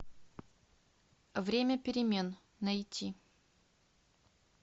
время перемен найти